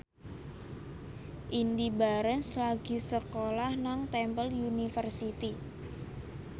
Indy Barens lagi sekolah nang Temple University